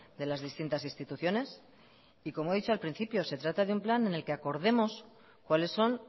de las distintas instituciones y como he dicho al principio se trata de un plan en el que acordemos cuáles son